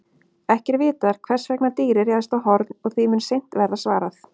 Ekki er vitað hvers vegna dýrið réðst á Horn og því mun seint verða svarað.